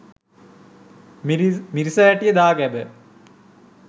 මිරිසවැටි දාගැබ